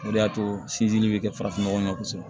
O de y'a to sinsinni bɛ kɛ farafin nɔgɔ ye kosɛbɛ